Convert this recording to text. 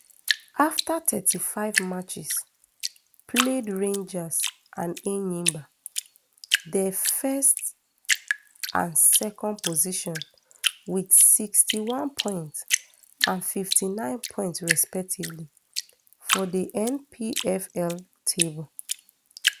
afta thirty-five matches played rangers and enyimba dey first and second positions wit sixty-one points and fifty-nine points respectively for di npfl table